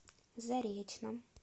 заречном